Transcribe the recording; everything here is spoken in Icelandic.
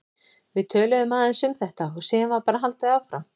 Við töluðum aðeins um þetta og síðan var bara haldið áfram.